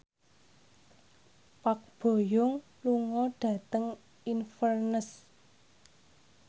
Park Bo Yung lunga dhateng Inverness